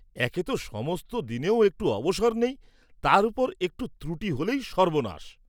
একে ত সমস্ত দিনেও একটু অবসর নেই, তার উপর একটু ত্রুটি হলেই সর্ব্বনাশ!